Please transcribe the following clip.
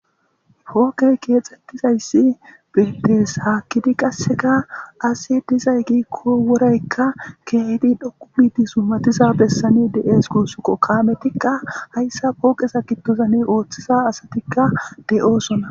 Pooqey kexetizaysi beetes, haakid qaseka aaze dizay giiko worayka keehid dhoqu good zumatiza besan de'es guusuko ,iza gidozan oothiza asatika de'osona